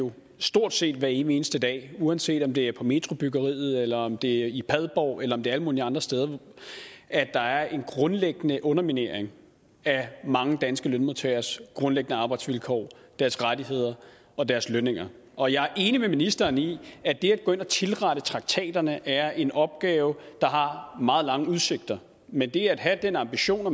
vi stort set hver evig eneste dag uanset om det er på metrobyggeriet eller om det er i padborg eller om det er alle mulige andre steder at der er en grundlæggende underminering af mange danske lønmodtageres grundlæggende arbejdsvilkår deres rettigheder og deres lønninger og jeg er enig med ministeren i at det at gå ind og tilrette traktaterne er en opgave der har meget lange udsigter men det at have den ambition at